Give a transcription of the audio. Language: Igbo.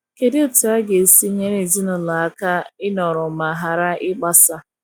kedụ etụ aga esi nyere ezinulo aka inọrọ ma ghara igbasa